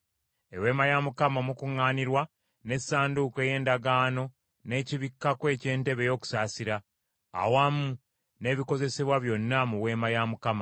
“Eweema ey’Okukuŋŋaanirangamu, n’Essanduuko ey’Endagaano n’ekibikkako eky’entebe ey’okusaasira, awamu n’ebikozesebwa byonna mu Weema,